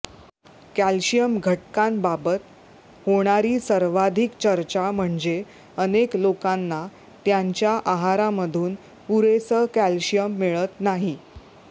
calcium घटकांबाबत होणारी सर्वाधिक चर्चा म्हणजे अनेक लोकांना त्यांच्या आहारामधून पुरेसं कॅल्शियम मिळत नाही